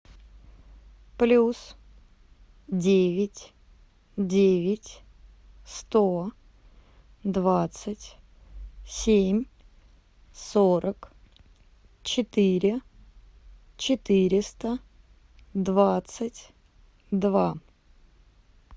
плюс девять девять сто двадцать семь сорок четыре четыреста двадцать два